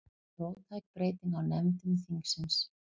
Róttæk breyting á nefndum þingsins